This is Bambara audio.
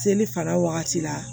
Seli fana wagati la